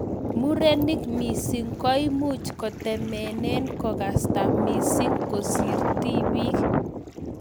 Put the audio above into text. Murenik mising koimuch kotemenee kokasta missing kosir tipiik